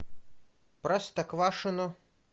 простоквашино